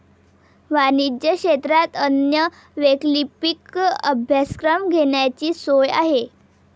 वाणिज्य क्षेत्रात अन्य वैकल्पिक अभ्यासक्रम घेण्याचीही सोय आहे.